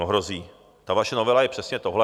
No hrozí, ta vaše novela je přesně tohle.